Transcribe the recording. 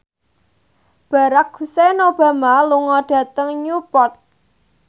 Barack Hussein Obama lunga dhateng Newport